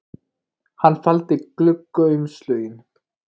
Hann faldi gluggaumslögin